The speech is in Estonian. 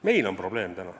Meil on probleem.